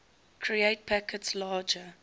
create packets larger